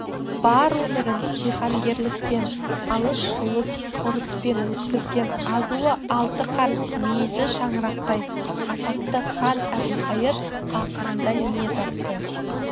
бар өмірін жиһангерлікпен алыс жұлыс ұрыспен өткізген азуы алты қарыс мүйізі шаңырақтай атақты хан әбілқайыр ақырында не тапты